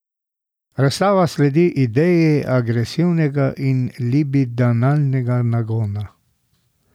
Razstava sledi ideji agresivnega in libidinalnega nagona.